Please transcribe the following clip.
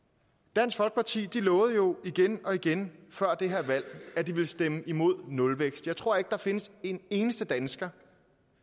dansk folkeparti lovede jo igen og igen før det her valg at de ville stemme imod nulvækst jeg tror ikke der findes en eneste dansker